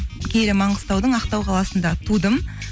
киелі маңғыстаудың ақтау қаласында тудым